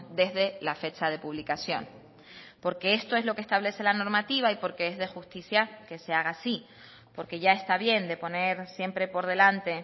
desde la fecha de publicación porque esto es lo que establece la normativa y porque es de justicia que se haga así porque ya está bien de poner siempre por delante